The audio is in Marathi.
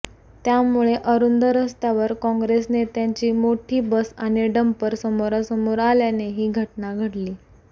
त्यामुळे अरुंद रस्त्यावर काँग्रेस नेत्यांची मोठी बस आणि डंपर समोरासमोर आल्याने ही घटना घडली